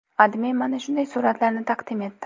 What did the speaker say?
AdMe mana shunday suratlarni taqdim etdi.